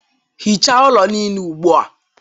Hichaa ụlọ niile ugbu a